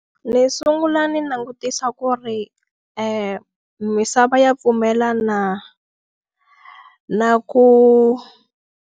Ndzi sungula ndzi langutisa ku ri misava ya pfumela na na ku.